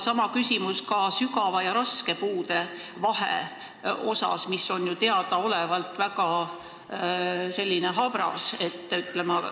Sama küsimus ka sügava ja raske puude vahe kohta, mis on ju teadaolevalt selline väga habras.